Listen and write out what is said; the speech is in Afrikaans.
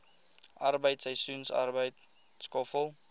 arbeid seisoensarbeid skoffel